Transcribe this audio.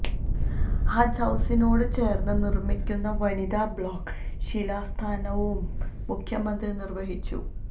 ഹജ്ജ് ഹൌസിനോട് ചേർന്ന് നിർമ്മിക്കുന്ന വനിതാ ബ്ലോക്ക് ശിലാസ്ഥാപനവും മുഖ്യമന്ത്രി നിർവഹിച്ചു